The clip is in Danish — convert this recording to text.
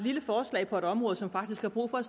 lille forslag på et område som faktisk har brug for